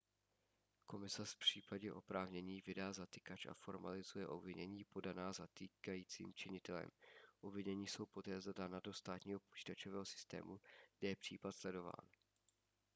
komisař v případě oprávnění vydá zatykač a formalizuje obvinění podaná zatýkajícím činitelem obvinění jsou poté zadána do státního počítačového systému kde je případ sledován